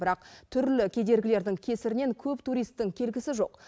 бірақ түрлі кедергілердің кесірінен көп туристің келгісі жоқ